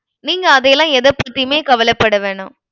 நீங்க அதையெல்லாம் எதைப்பத்தியுமே கவலைப்பட வேணாம்.